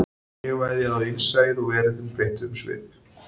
Ég veðjaði á innsæið og veröldin breytti um svip